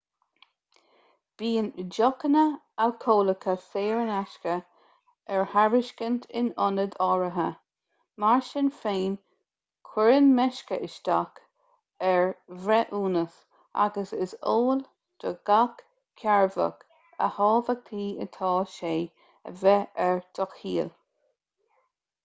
bíonn deochanna alcólacha saor in aisce ar tairiscint in ionaid áirithe mar sin féin cuireann meisce isteach ar bhreithiúnas agus is eol do gach cearrbhach a thábhachtaí atá sé a bheith ar do chiall